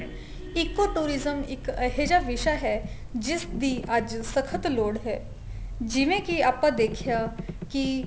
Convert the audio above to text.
ECO tourism ਇੱਕ ਅਜਿਹਾ ਵਿਸ਼ਾ ਹੈ ਜਿਸ ਦੀ ਅੱਜ ਸਖਤ ਲੋੜ ਹੈ ਜਿਵੇਂ ਕੀ ਆਪਾਂ ਦੇਖਿਆ ਕੀ